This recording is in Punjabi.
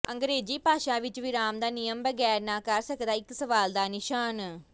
ਅੰਗਰੇਜ਼ੀ ਭਾਸ਼ਾ ਵਿਚ ਵਿਰਾਮ ਦਾ ਨਿਯਮ ਬਗੈਰ ਨਾ ਕਰ ਸਕਦਾ ਇੱਕ ਸਵਾਲ ਦਾ ਨਿਸ਼ਾਨ